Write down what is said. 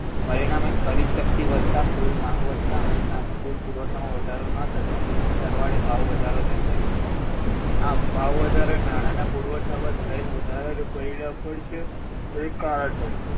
પરિણામે ખરીદશક્તિ વધતાં કુલ માંગ વધતાં અને સામે કુલ પુરવઠામાં વધારો ન થતાં સરવાળે ભાવ વધારો જન્મે છે આમ ભાવવધારો એ નાણાંના પુરવઠામાં થયેલ વધારાનું પરિણામ પણ છે અને કારણ પણ છે